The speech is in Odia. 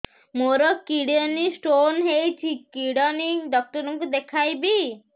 ମୋର କିଡନୀ ସ୍ଟୋନ୍ ହେଇଛି କିଡନୀ ଡକ୍ଟର କୁ ଦେଖାଇବି